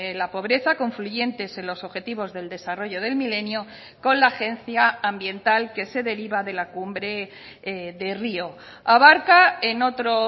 la pobreza confluyentes en los objetivos del desarrollo del milenio con la agencia ambiental que se deriva de la cumbre de rio abarca en otro